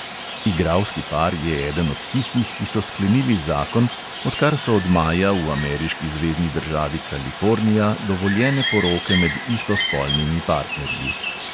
Igralski par je eden od tistih, ki so sklenili zakon, odkar so od maja v ameriški zvezni državi kalifornija dovoljene poroke med istospolnimi partnerji.